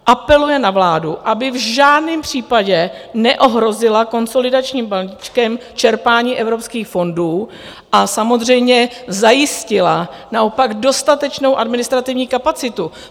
Apeluje na vládu, aby v žádném případě neohrozila konsolidačním balíčkem čerpání evropských fondů a samozřejmě zajistila naopak dostatečnou administrativní kapacitu.